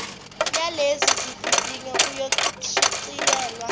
yalezi zivivinyo iyoshicilelwa